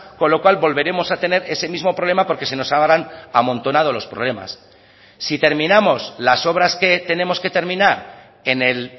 con lo cual volveremos a tener ese mismo problema porque se nos habrán amontonado los problemas si terminamos las obras que tenemos que terminar en el